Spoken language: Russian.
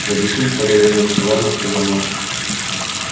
объяснишь когда вернёмся ладно сказал он